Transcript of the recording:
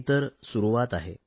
ही तर सुरुवात आहे